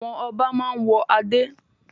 Àwọn ọba máa ń wọ adé.